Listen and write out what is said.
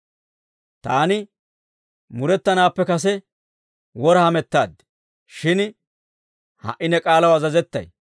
Taani murettanaappe kase wora hamettaad; shin ha"i ne k'aalaw azazettay.